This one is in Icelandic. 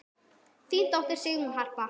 Þín dóttir, Sigrún Harpa.